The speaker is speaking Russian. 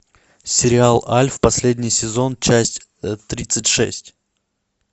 сериал альф последний сезон часть тридцать шесть